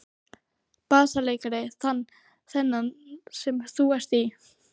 BASSALEIKARI: Þennan sem þú ert í?